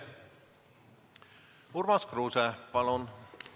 Urmas Kruuse, palun!